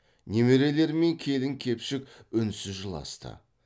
немерелері мен келін кепшік үнсіз жыласты